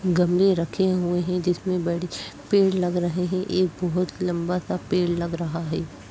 गमले रखे हुए हैं जिसमे पेड़ लग रहे हैं। एक बहुत लम्बा सा पेड़ लग रहा है।